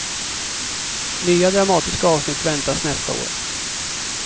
Nya dramatiska avsnitt väntas nästa år.